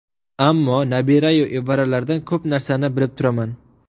Ammo nabira-yu evaralardan ko‘p narsani bilib turaman.